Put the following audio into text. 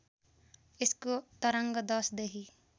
यसको तरङ्ग दशदेखि